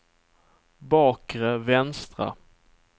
bakre vänstra